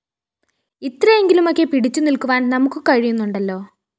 ഇത്രയെങ്കിലുമൊക്കെ പിടിച്ചുനില്ക്കുവാന്‍ നമുക്കു കഴിയുന്നുണ്ടല്ലോ